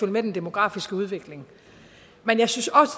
med den demografiske udvikling men jeg synes også